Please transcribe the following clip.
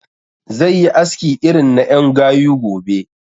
Zai yi aski irin na ƴan gayu gobe